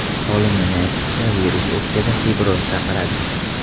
Olimning aytishicha, virus o‘pkada fibroz chaqiradi.